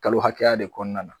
Kalo hakɛya de kɔnɔna na.